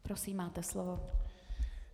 Prosím, máte slovo.